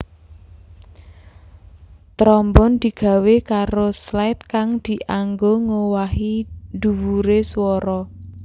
Trombon digawé karo slide kang dianggo ngowahi dhuwure swara